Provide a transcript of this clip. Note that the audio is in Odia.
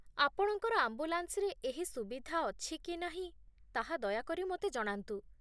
ଆପଣଙ୍କର ଆମ୍ବୁଲାନ୍ସରେ ଏହି ସୁବିଧା ଅଛି କି ନାହିଁ ତାହା ଦୟାକରି ମୋତେ ଜଣାନ୍ତୁ।